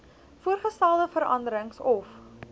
voorgestelde veranderings of